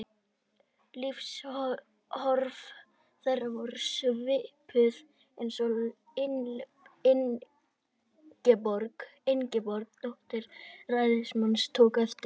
Lífsviðhorf þeirra voru svipuð, eins og Ingeborg, dóttir ræðismannsins, tók eftir.